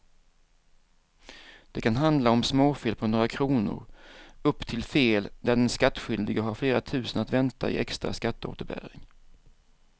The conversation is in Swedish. Det kan handla om småfel på några kronor upp till fel där den skattskyldige har flera tusen att vänta i extra skatteåterbäring.